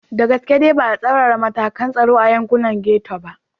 Da gaske dai ba a tsaurara matakan tsaro a yankunan Getto ba.